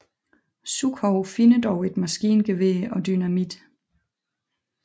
Sukhov finder dog et maskingevær og dynamit